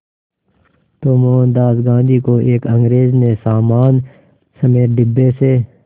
तो मोहनदास गांधी को एक अंग्रेज़ ने सामान समेत डिब्बे से